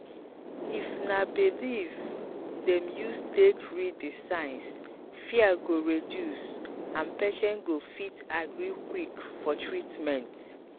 if na belief dem use take read the signs fear go reduce and patient go fit agree quick for treatment.